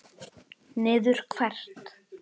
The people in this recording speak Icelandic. Niður hvert?